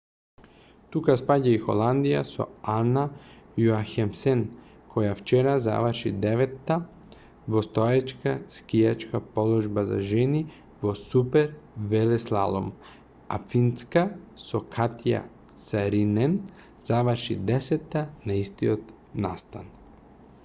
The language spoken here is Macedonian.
тука спаѓа и холандија со ана јохемсен која вчера заврши деветта во стоечка скијачка положба за жени во супервелеслалом а финска со катја саринен заврши десетта на истиот настан